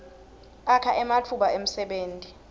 akha ematfuba emsebenti